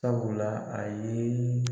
Sabula a ye